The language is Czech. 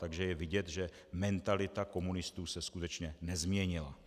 Takže je vidět, že mentalita komunistů se skutečně nezměnila.